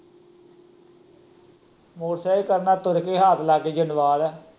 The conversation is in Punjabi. ਮੋਟਰਸਾਈਕਲ ਕੀ ਕਰਨਾ ਜਿੰਦਵਾਲ ਏ?